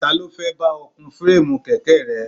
Ta ló fẹ́ bá ọ kun fireemu kèké rẹ?